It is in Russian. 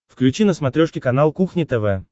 включи на смотрешке канал кухня тв